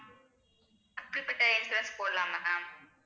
எப்படிப்பட்ட insurance போடலாங்க ma'am